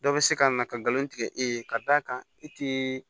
Dɔ bɛ se ka na ka galon tigɛ e ye ka d'a kan e tɛ